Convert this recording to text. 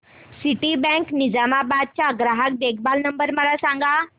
Citibank Nizamabad चा ग्राहक देखभाल नंबर मला सांगा